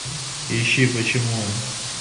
ищи почему он